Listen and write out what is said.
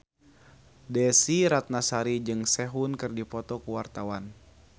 Desy Ratnasari jeung Sehun keur dipoto ku wartawan